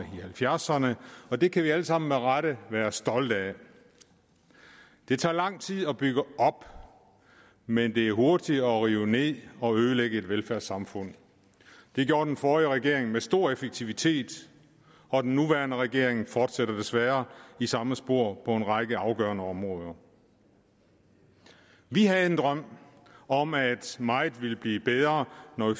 halvfjerdserne og det kan vi alle sammen med rette være stolte af det tager lang tid at bygge op men det er hurtigere at rive ned og ødelægge et velfærdssamfund det gjorde den forrige regering med stor effektivitet og den nuværende regering fortsætter desværre i samme spor på en række afgørende områder vi havde en drøm om at meget ville blive bedre når